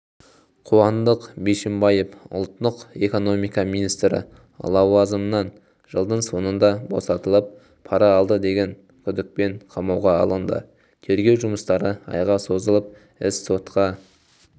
қуандық бишімбаев ұлттық экономика министрі лауазымынан жылдың соңында босатылып пара алды деген күдікпен қамауға алынды тергеу жұмыстары айға созылып іс сотқа